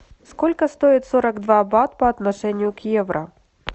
сколько стоит сорок два бат по отношению к евро